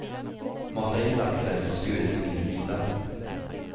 Mata i laxen som skurits i mindre bitar.